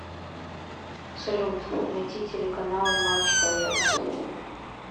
салют найти телеканал матч боец